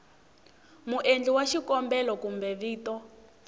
muendli wa xikombelo kumbe vito